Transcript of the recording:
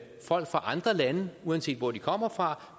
fra andre lande uanset hvor de kommer fra